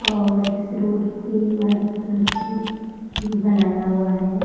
और इस रोड पर वाइट कलर से चिन्ह बनाया हुआ है |